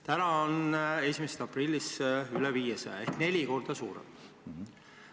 Täna on see 1. aprillist üle 500 euro ehk neli korda suurem.